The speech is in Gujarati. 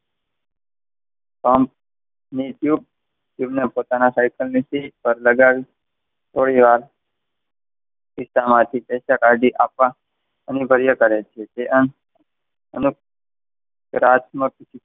કંપ પોતાની સાયકલની સીટ ઉપર લગાવી થોડીવાર ખિસ્સામાંથી પૈસા કાઢી ને આપવા અને રાતમાં,